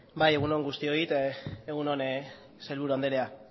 bai egun on guztioi eta egun on sailburu andrea